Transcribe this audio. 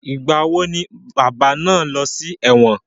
Ìgbà wo ni bàbá náà lọ sí ẹ̀wọ̀n?